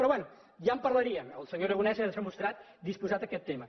però bé ja en parlaríem el senyor aragonés s’ha mostrat disposat a aquest tema